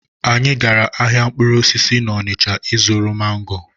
Anyị gara ahịa mkpụrụ osisi n'Ọnịcha ịzụrụ mango.